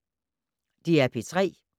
DR P3